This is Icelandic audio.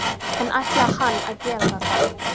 En ætlaði hann að gera þetta?